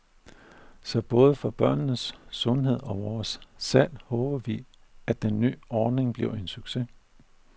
Så både for børnenes sundhed og vores salg håber vi at den ny ordning bliver en succes.